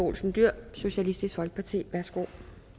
olsen dyhr socialistisk folkeparti værsgo